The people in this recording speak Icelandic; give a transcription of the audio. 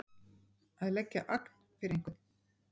Að leggja agn fyrir einhvern